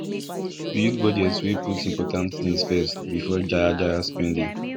build budget wey put important things first before jaya jaya spending